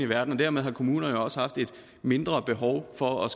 verden og dermed har kommunerne også haft et mindre behov for at